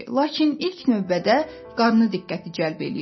Lakin ilk növbədə qarnı diqqəti cəlb eləyirdi.